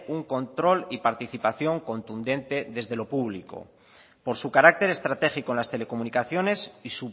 un control y participación contundente desde lo público por su carácter estratégico en las telecomunicaciones y